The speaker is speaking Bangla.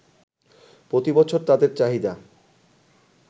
প্রতি বছর তাদের চাহিদা